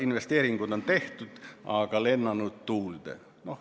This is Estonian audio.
Investeeringud on tehtud, aga on lennanud tuulde.